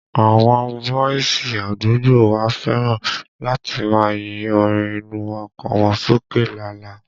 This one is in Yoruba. Àwọn bọ́ìsì àdúgbò wa fẹ́ràn láti máa yín orin inú ọkọ̀ wọn sókè lala